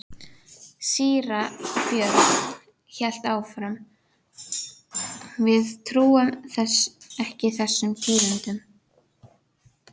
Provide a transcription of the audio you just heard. Síra Björn hélt áfram: Við trúum ekki þessum tíðindum.